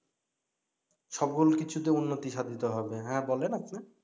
সকল কিছুতে উন্নতি সাধিত হবে হ্যা বলেন আপনি